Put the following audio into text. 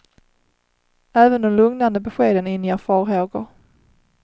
Även de lugnande beskeden inger farhågor.